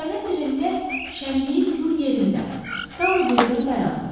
Küçələrdən birində şənliyin gür yerində Taro birdən dayandı.